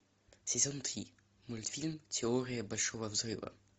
сезон три мультфильм теория большого взрыва